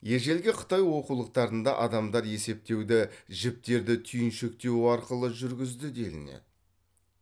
ежелгі қытай оқулықтарында адамдар есептеуді жіптерді түйіншектеу арқылы жүргізді делінеді